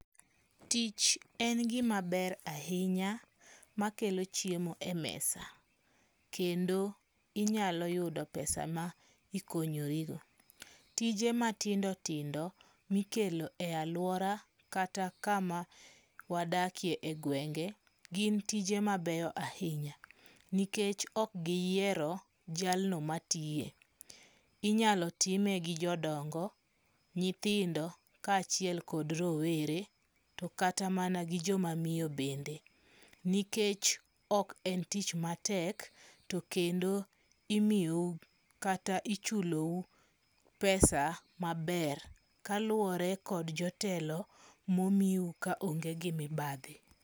Tich en gima ber ahinya makelo chiemo e mesa. Kendo inyalo yudo pesa ma ikonyorigo. Tije matindo tindo mikelo e aluora kata kama wadakie e gwenge gin tije mabeyo ahinya. Nikech ok giyiero jalno matiye. Inyalo time gi jodongo, nyithindo, kachiel kod rowere. To kata mana gi joma miyo bende. Nikech ok en tich matek to kendo imiyou kata ichulou pesa maber kaluwore kod jotelo momiu ka onge gi mibadhi.